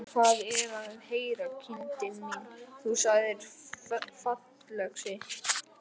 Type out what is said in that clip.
Hvað er að heyra, kindin mín, þú sagðir fallöxi.